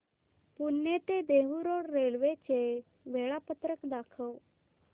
पुणे ते Dehu road railway चे वेळापत्रक दाखव